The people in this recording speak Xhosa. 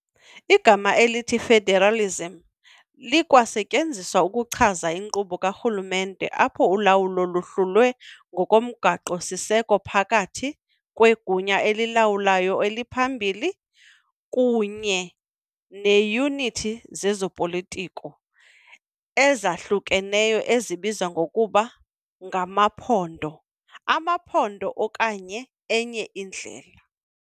Igama elithi "federalism" likwasetyenziselwa ukuchaza inkqubo karhulumente apho ulawulo luhlulwe ngokomgaqo-siseko phakathi kwegunya elilawulayo eliphambili kunye neeyunithi zezopolitiko, ezahlukeneyo ezibizwa ngokuba ngamaphondo, amaphondo okanye enye indlela.